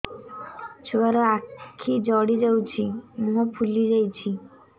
ଛୁଆର ଆଖି ଜଡ଼ି ଯାଉଛି ମୁହଁ ଫୁଲି ଯାଇଛି